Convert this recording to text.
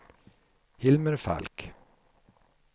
Hilmer Falk